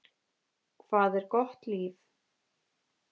Hvað er gott líf?